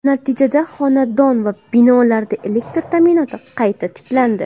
Natijada xonadon va binolarda elektr ta’minoti qayta tiklandi.